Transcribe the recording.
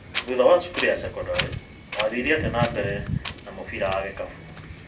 Thutha wa cukuru ya cekondarĩ, wathire atĩa na mbere na mũbira wa gĩkabũ?